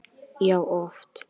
Já, oft.